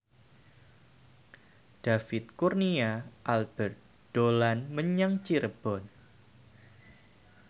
David Kurnia Albert dolan menyang Cirebon